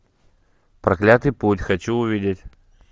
проклятый путь хочу увидеть